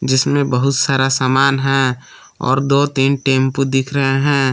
जिसमें बहुत सारा सामान है और दो तीन टेम्पू दिख रहे हैं।